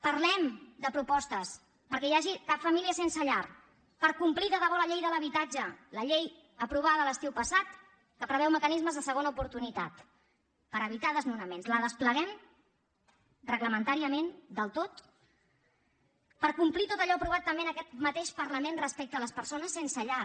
parlem de propostes perquè no hi hagi cap família sense llar per complir de debò la llei de l’habitatge la llei aprovada l’estiu passat que preveu mecanismes de segona oportunitat per evitar desnonaments la despleguem reglamentàriament del tot per complir tot allò aprovat també en aquest mateix parlament respecte a les persones sense llar